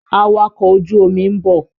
Awakọ̀ ojú omi ń bọ̀.